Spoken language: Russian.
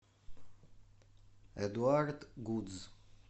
эдуард гудз